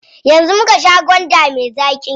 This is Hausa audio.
Yanzu muka sha gwanda me zaƙi.